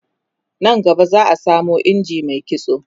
nan gaba za'a samo injin Mai kitso